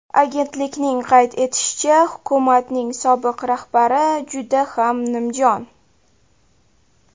Agentlikning qayd etishicha, hukumatning sobiq rahbari juda ham nimjon.